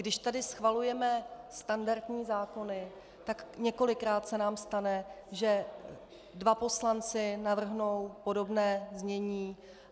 Když tady schvalujeme standardní zákony, tak několikrát se nám stane, že dva poslanci navrhnou podobné znění.